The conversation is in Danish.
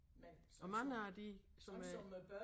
Og mange af de som øh